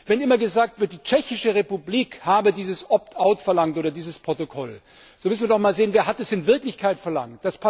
Wenn immer gesagt wird, die Tschechische Republik habe dieses Opt out verlangt oder dieses Protokoll, so müssen wir doch mal sehen Wer hat es in Wirklichkeit verlangt?